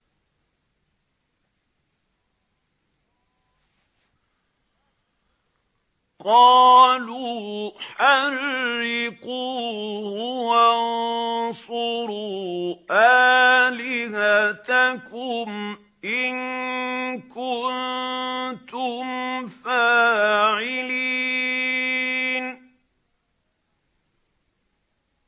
قَالُوا حَرِّقُوهُ وَانصُرُوا آلِهَتَكُمْ إِن كُنتُمْ فَاعِلِينَ